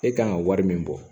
E kan ka wari min bɔ